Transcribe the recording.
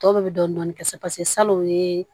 Tɔw bɛɛ bɛ dɔɔnin dɔɔnin kɛ salon o ye